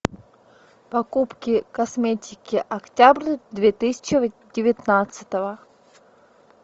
покупки косметики октябрь две тысячи девятнадцатого